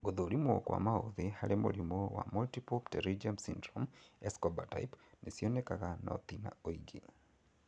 Gũthũrimwo kwa maũthĩ harĩ mũrimũ wa multiple pterygium syndrome, Escobar type nĩcionekaga no ti na ũingĩ